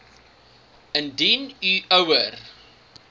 indien u ouer